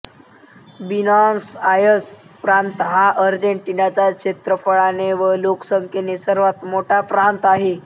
Buenos Aires प्रांत हा अर्जेन्टिनाचा क्षेत्रफळाने व लोकसंख्येने सर्वात मोठा प्रांत आहे